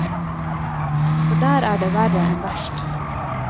For der er det verre enn verst.